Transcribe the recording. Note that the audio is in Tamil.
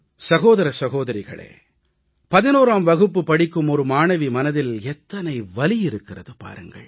சகோதர சகோதரிகளே 11ஆம் வகுப்பு படிக்கும் ஒரு மாணவி மனதில் எத்தனை வலி இருக்கிறது பாருங்கள்